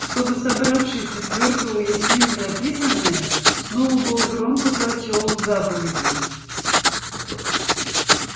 чтобы собравшиеся твёрдо уяснили написанное сноуболл громко прочёл заповеди